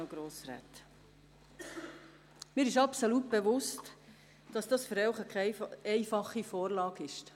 Ich bin mir absolut bewusst, dass diese Vorlage für Sie nicht einfach ist.